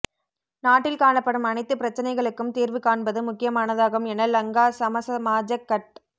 நாட்டில் காணப்படும் அனைத்து பிரச்சினைகளுக்கும் தீர்வு காண்பது முக்கியமானதாகும் என லங்கா சமசமாஜக் கட்